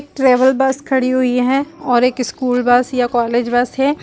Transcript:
Travel bus खड़ी हुई है। और एक स्कूल बस या कॉलेज बस है।